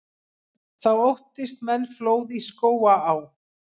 Þá óttist menn flóð í Skógaá.